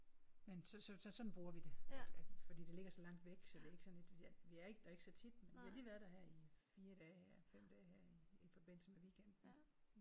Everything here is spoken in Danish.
Men så så så sådan bruger vi det. At at fordi det ligger så langt væk så det er ikke sådan et vi er vi er der ikke så tit men vi har lige været der i 4 dage her i 5 dage her i i forbindelse med weekenden